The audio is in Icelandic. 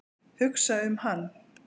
Hugsa um hann.